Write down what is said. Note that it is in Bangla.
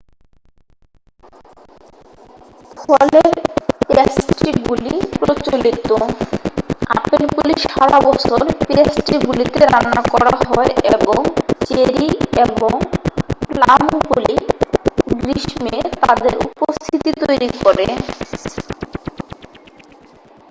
ফলের প্যাস্ট্রিগুলি প্রচলিত আপেলগুলি সারা বছর প্যাস্ট্রিগুলিতে রান্না করা হয় এবং চেরি এবং প্লামগুলি গ্রীষ্মে তাদের উপস্থিতি তৈরি করে